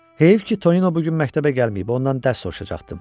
Heyif ki, Tonino bu gün məktəbə gəlməyib, ondan dərs soruşacaqdım.